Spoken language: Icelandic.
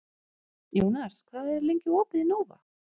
Jónas, hvað er lengi opið í Nova?